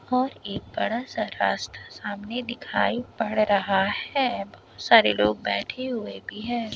और एक बड़ा सा रास्ता सामने दिखाई पड़ रहा है बोहोत सारे लोग बैठे हुए भी है।